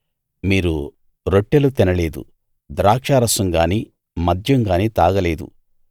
మీరు రొట్టెలు తినలేదు ద్రాక్షారసం గానీ మద్యం గానీ తాగలేదు